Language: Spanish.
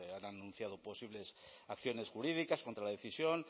han anunciado posibles acciones jurídicas contra la decisión